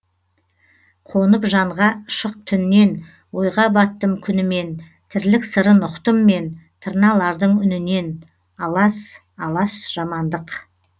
қонып жанға шық түннен ойға баттым күнімен тірлік сырын ұқтым мен тырналардың үнінен алас алас жамандық